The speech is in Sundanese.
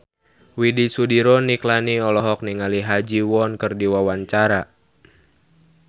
Widy Soediro Nichlany olohok ningali Ha Ji Won keur diwawancara